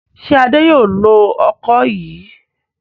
Ṣé Adé yóò lo ọkọ́ yìí?